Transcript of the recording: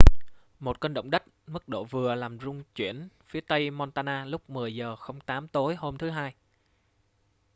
một cơn động đất mức độ vừa làm rung chuyển phía tây montana lúc 10:08 tối hôm thứ hai